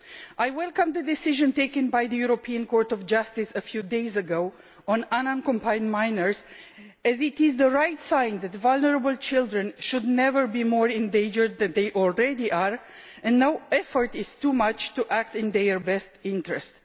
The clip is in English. I welcome the decision taken by the European Court of Justice a few days ago on unaccompanied minors, as it is right that vulnerable children should never be more in danger than they already are, and no effort is too much to act in their best interest.